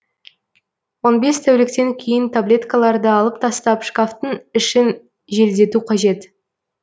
он бес тәуліктен кейін таблеткаларды алып тастап шкафтың ішін желдету қажет